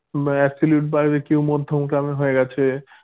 বা absolute barbeque হয়ে গেছে